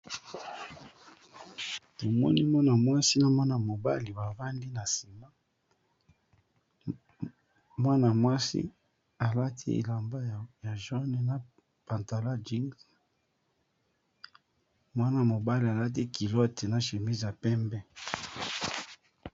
Tomoni mwana-mwasi na mwana-mobali bavandi na sima mwana-mwasi alati elamba ya langi ya mosaka pe na pantalon ya langi ya bozinga ,mwana mobali alati coupe na polo ya pembe.